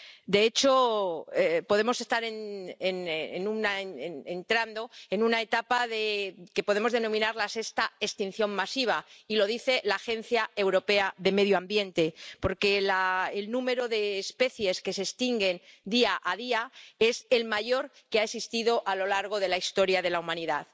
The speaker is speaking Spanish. De hecho, podemos estar entrando en una etapa que podemos denominar la sexta extinción masiva ―y lo dice la Agencia Europea de Medio Ambiente―, porque el número de especies que se extinguen día a día es el mayor que ha existido a lo largo de la historia de la humanidad.